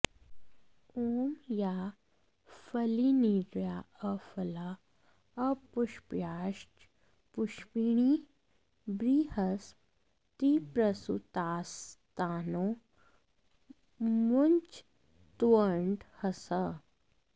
ॐ याः फलिनीर्या अफला अपुष्पायाश्च पुष्पिणीः बृहस्पतिप्रसूतास्तानो मुञ्चत्वर्ठंहसः